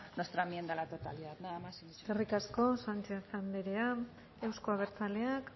nuestra enmienda a la totalidad nada más y muchas gracias eskerrik asko sánchez andrea euzko abertzaleak